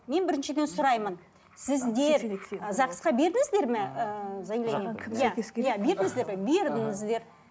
мен біріншіден сұраймын сіздер ы загс қа бердіңіздер ме ыыы заявление ы иә иә бердіңіздер ғой бердіңіздер